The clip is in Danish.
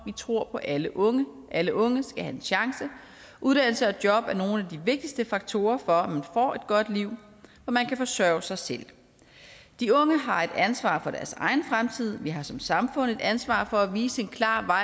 vi tror på alle unge alle unge skal have en chance og uddannelse og job er nogle af de vigtigste faktorer for om man får et godt liv hvor man kan forsørge sig selv de unge har et ansvar for deres egen fremtid og vi har som samfund et ansvar for at vise en klar